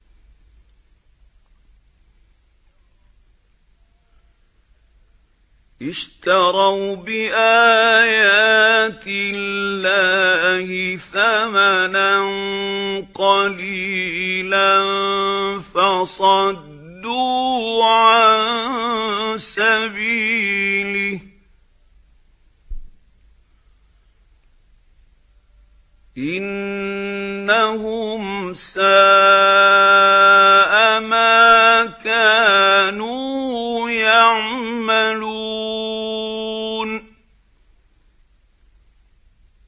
اشْتَرَوْا بِآيَاتِ اللَّهِ ثَمَنًا قَلِيلًا فَصَدُّوا عَن سَبِيلِهِ ۚ إِنَّهُمْ سَاءَ مَا كَانُوا يَعْمَلُونَ